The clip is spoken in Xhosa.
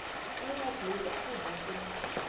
encwadiniwakhu mbula ukuba